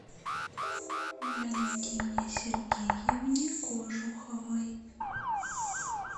валентине сергеевне кожуховой